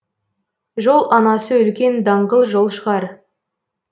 жол анасы үлкен даңғыл жол шығар